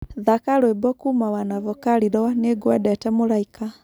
thaka rwĩmbo kũuma wanavokali rwa nĩngwendete mũraĩka